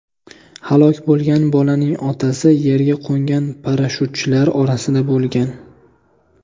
Halok bo‘lgan bolaning otasi yerga qo‘ngan parashyutchilar orasida bo‘lgan.